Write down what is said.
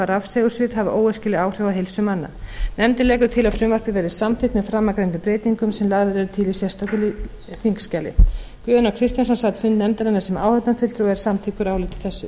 rafsegulsvið hafi óæskileg áhrif á heilsu manna nefndin leggur til að frumvarpið verði samþykkt með framangreindum breytingum sem lagðar eru til í sérstöku þingskjali guðjón a kristjánsson sat fund nefndarinnar sem áheyrnarfulltrúi og er samþykkur áliti þessu